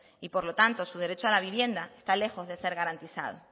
y por lo tanto su derecho a la vivienda está lejos de ser garantizado